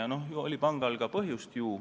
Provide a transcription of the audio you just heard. Aga ju pangal oli selleks põhjust.